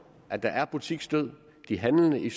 at der er butiksdød de handlende i